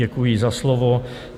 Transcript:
Děkuji za slovo.